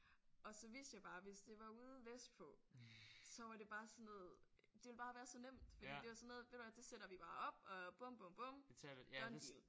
Og så vidste jeg bare hvis det var ude vestpå så var det bare sådan noget det ville bare være så nemt fordi det var sådan noget ved du hvad det sætter vi bare op og bum bum bum done deal